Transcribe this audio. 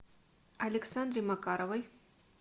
александре макаровой